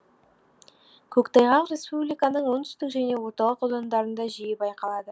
көктайғақ республиканың оңтүстік және орталық аудандарында жиі байқалады